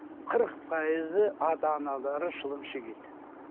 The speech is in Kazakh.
қырық пайызы ата аналары шылым шегеді